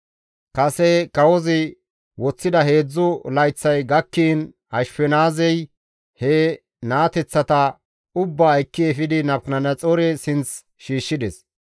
Kase kawozi woththida heedzdzu layththay gakkiin Ashfenaazey he naateththata ubbaa ekki efidi Nabukadanaxoore sinth shiishshides.